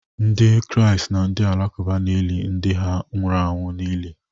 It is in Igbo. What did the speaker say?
Ndị Kraịst na ndị Alakụba na-eli ndị ha nwụrụ anwụ n'ili.